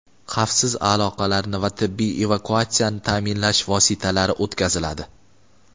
xavfsiz aloqalarni va tibbiy evakuatsiyani ta’minlash vositalari o‘tkaziladi.